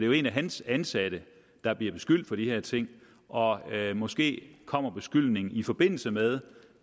jo en af hans ansatte der bliver beskyldt for de her ting og måske kommer beskyldningen i forbindelse med